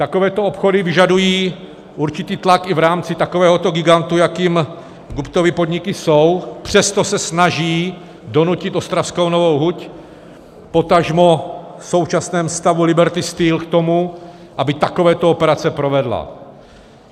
Takovéto obchody vyžadují určitý tlak i v rámci takovéhoto gigantu, jakým Guptovy podniky jsou, přesto se snaží donutit ostravskou Novou huť, potažmo v současném stavu Liberty Steel, k tomu, aby takovéto operace provedla.